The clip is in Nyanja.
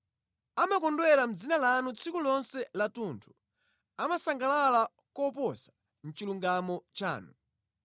Amakondwera mʼdzina lanu tsiku lonse lathunthu; amasangalala koposa mʼchilungamo chanu.